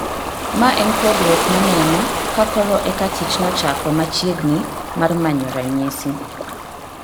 Ma en pogruok maneno, ka koro eka tich nochako machiegni mar manyo ranyisi